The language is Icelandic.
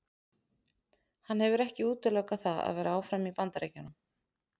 Hann hefur ekki útilokað það að vera áfram í Bandaríkjunum.